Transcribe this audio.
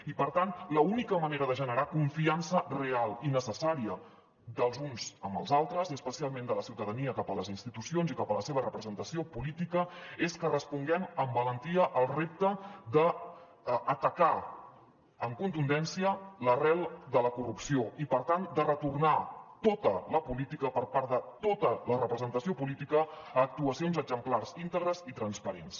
i per tant l’única manera de generar confiança real i necessària dels uns amb els altres i especialment de la ciutadania cap a les institucions i cap a la seva representació política és que responguem amb valentia al repte d’atacar amb contundència l’arrel de la corrupció i per tant de retornar tota la política per part de tota la representació política a actuacions exemplars íntegres i transparents